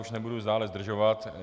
Už nebudu dále zdržovat.